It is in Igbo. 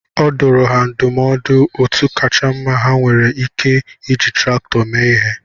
Ọ dụrụ ha ndumọdụ otú kacha mma ha nwere Ike iji traktọ mee ihe